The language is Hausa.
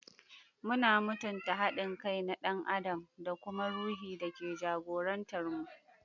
Muna mutunta haɗin kai na ɗan adam da kuma ruhi da ke jagorantar mu.